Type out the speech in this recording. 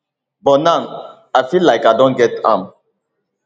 but now i feel like i don get am